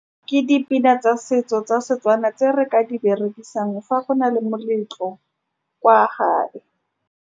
Ke dipina tsa setso tsa setswana, tse re ka di berekisang fa go na le moletlo kwa gae.